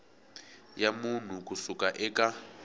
ya munhu ku suka eka